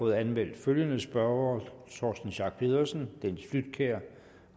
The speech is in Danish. der anmeldt følgende spørgere torsten schack pedersen dennis flydtkjær